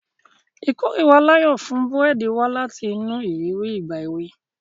Ìkórìíra Layo fún búrẹ́dì wá láti inú ìrírí ìgbà èwe.